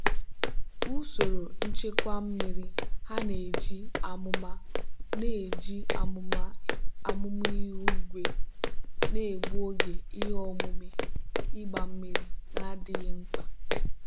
usoro nchekwa mmiri ha na-eji amụma na-eji amụma ihu igwe na-egbu oge ihe omume ịgba mmiri na-adịghị mkpa.